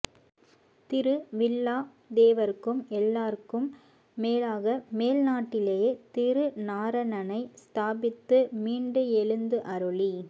திரு வில்லா தேவர்க்கும் எல்லாருக்கும் மேலாக மேல் நாட்டிலே திரு நாரணனை ஸ்தாபித்து மீண்டு எழுந்து அருளி